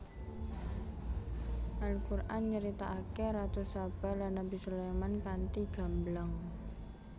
Al Quran nyeritakake Ratu Saba lan Nabi Sulaiman kanthi gamblang